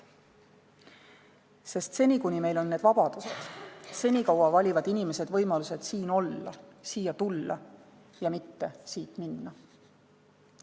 Sest seni kuni meil on need vabadused, senikaua valivad inimesed võimaluse siin olla, siia tulla – ja mitte siit minna.